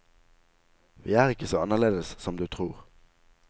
Vi er ikke så annerledes som du tror.